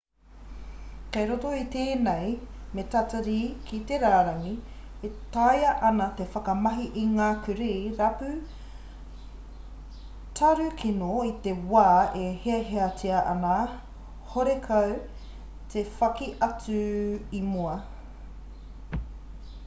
kei roto i tēnei me tatari ki te rārangi e taea ana te whakamahi i ngā kurī rapu tarukino i te wā e hiahiatia ana horekau te whaki atu i mua